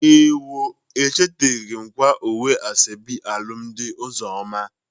Ewo! Echeteghi m kwaa uwe asoebi alụmdị Ụzọma.